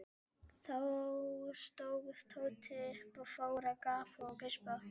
Þá stóð Tóti upp og fór að gapa og geispa.